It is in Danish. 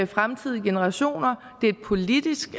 fremtidige generationer det er et politisk